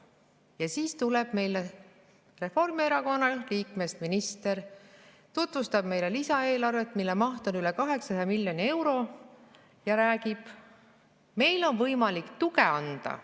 Ja siis tuleb meie ette Reformierakonna liikmest minister, tutvustab meile lisaeelarvet, mille maht on üle 800 miljoni euro, ja räägib: meil on võimalik tuge anda.